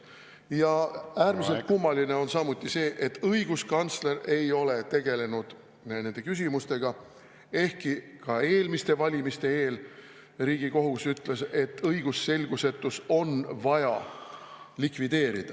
Ja äärmiselt kummaline on samuti see, et õiguskantsler ei ole tegelenud nende küsimustega, ehkki ka eelmiste valimiste eel Riigikohus ütles, et õigusselgusetus on vaja likvideerida.